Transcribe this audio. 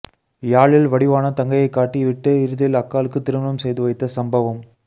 யாழில் வடிவான தங்கையைக் காட்டி விட்டு இறுதியில் அக்காளுக்கு திருமணம் செய்து வைத்த சம்பவம்